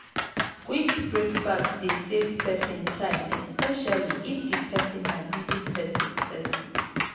quick breakfast dey save person time especially if di person na busy person person